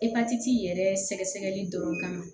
Epatiti yɛrɛ sɛgɛli dɔrɔn kan